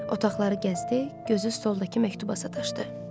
Otaqları gəzdi, gözü stoldakı məktuba sataşdı.